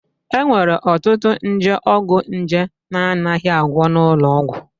E nwere ọtụtụ nje ọgwụnje na-anaghị agwọ n'ụlọ ọgwụ